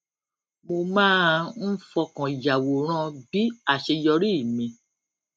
mo máa ń fọkàn yàwòrán bí àṣeyọrí mi